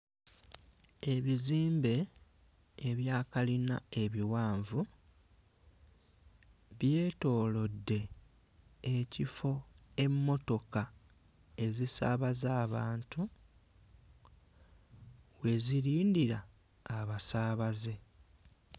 Ebizimbe ebya kalina ebiwanvu byetoolodde ekifo emmotoka ezisaabaza abantu we zirindira abasaabaze.